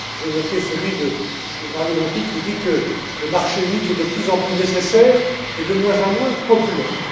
J'ai noté celui de Mario Monti, qui dit que le marché unique est de plus en plus nécessaire et de moins en moins populaire.